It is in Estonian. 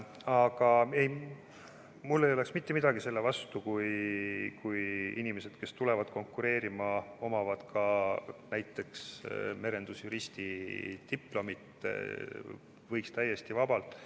Aga mul ei oleks mitte midagi selle vastu, kui inimesed, kes tulevad konkureerima, omavad ka näiteks merendusjuristi diplomit – võiks täiesti vabalt.